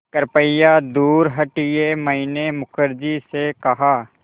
कृपया दूर हटिये मैंने मुखर्जी से कहा